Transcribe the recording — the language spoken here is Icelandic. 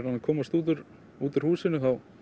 komast út úr út úr húsinu þá